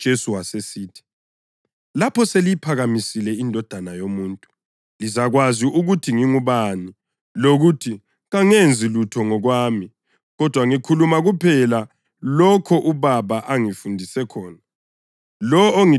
Ngakho uJesu wasesithi, “Lapho seliyiphakamisile iNdodana yoMuntu lizakwazi ukuthi ngingubani lokuthi kangenzi lutho ngokwami kodwa ngikhuluma kuphela lokho uBaba angifundise khona.